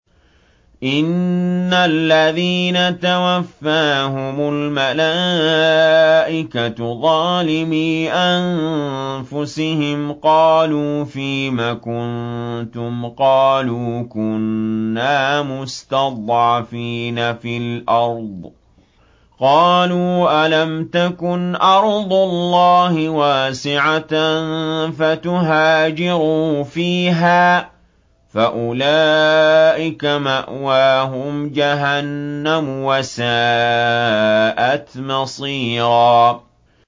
إِنَّ الَّذِينَ تَوَفَّاهُمُ الْمَلَائِكَةُ ظَالِمِي أَنفُسِهِمْ قَالُوا فِيمَ كُنتُمْ ۖ قَالُوا كُنَّا مُسْتَضْعَفِينَ فِي الْأَرْضِ ۚ قَالُوا أَلَمْ تَكُنْ أَرْضُ اللَّهِ وَاسِعَةً فَتُهَاجِرُوا فِيهَا ۚ فَأُولَٰئِكَ مَأْوَاهُمْ جَهَنَّمُ ۖ وَسَاءَتْ مَصِيرًا